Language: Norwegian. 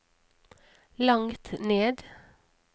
langt ned